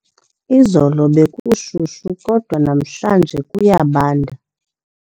Izolo bekushushu kodwa namhlanje kuyabanda.